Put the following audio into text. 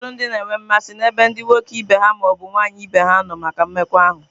Ụfọdụ ndị na-enwe mmasị n'ebe ndị nwoke ibe ha ma ọ bụ nwaanyị ibe ha nọ maka mmekọahụ.